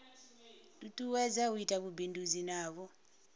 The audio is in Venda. tutuwedza u ita vhubindudzi navho